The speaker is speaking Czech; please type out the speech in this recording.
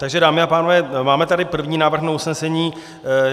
Takže dámy a pánové, máme tady první návrh na usnesení.